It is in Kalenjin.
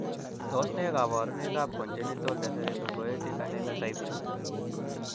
Tos nee koborunoikab Congenital dyserythropoietic anemia type 2?